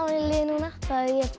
í liði núna þá hefði ég